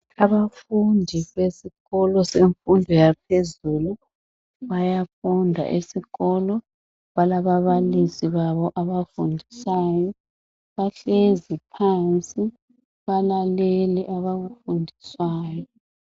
Abafundi besikolo semfundo yaphezulu bayafunda esikolo balaba balisi babo ababafundisayo bahlezi phansi balalele abakufundiswayo.